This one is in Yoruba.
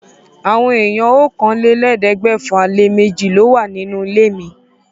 Àwọn èèyàn okòólélẹ́ẹ̀ẹ́dẹ́gbẹ́fà-lé-méjì ló wà nínú ilé mi.